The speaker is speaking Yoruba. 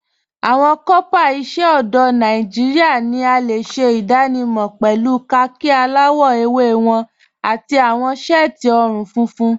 Awọn kọọpá iṣẹ ọdọ Nàìjíríà ni a le ṣẹ idànímọ̀ pẹ̀lú kháàkì aláwọ̀ èwé wọn àti awọn t-séẹtí ọ̀run-fúnfún.